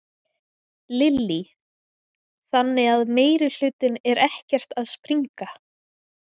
Lillý: Þannig að meirihlutinn er ekkert að springa?